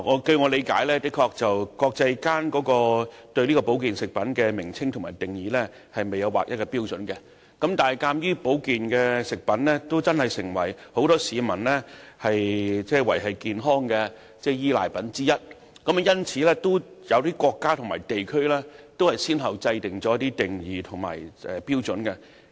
據我理解，的確國際上對保健產品的名稱和定義沒有劃一標準。但是，鑒於保健產品已成為不少市民賴以維持健康的產品之一，因此，有些國家及地區先後制訂了一些定義及標準。